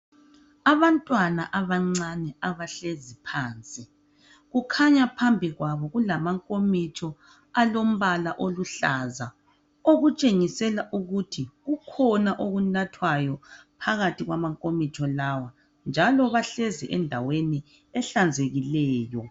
Abantwana abancane abahlezi phansi kukhanya phambi kwabo kulamankomitsho alombala aluhlaza okutshengisela ukuthi kukhona okunathwayo phakathi kwamankomitsho lawa njalo bahlezi endaweni ehlanzekile.